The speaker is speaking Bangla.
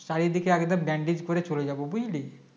চারিদিকে একদম Bandage করে চলে যাব বুঝলি